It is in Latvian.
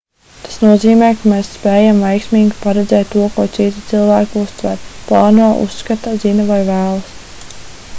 tas nozīmē ka mēs spējam veiksmīgi paredzēt to ko citi cilvēki uztver plāno uzskata zina vai vēlas